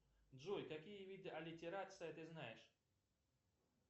джой какие виды аллитерации ты знаешь